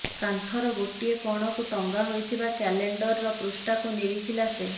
କାନ୍ଥର ଗୋଟିଏ କଣକୁ ଟଂଗା ହୋଇଥିବା କ୍ୟାଲେଣ୍ଡରର ପୃଷ୍ଠାକୁ ନିରିଖିଲା ସେ